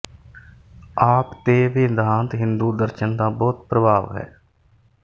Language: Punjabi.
ਆਪ ਤੇ ਵੇਦਾਂਤ ਹਿੰਦੂ ਦਰਸ਼ਨ ਦਾ ਬਹੁਤ ਪ੍ਰਭਾਵ ਹੈ